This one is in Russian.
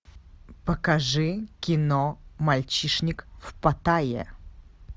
покажи кино мальчишник в паттайе